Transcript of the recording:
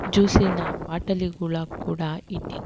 ಜ್ಯೂಸಿನ ಬಾಟಲಿ ಗುಳ ಕೂಡ ಇಟ್ಟಿದ್ದ--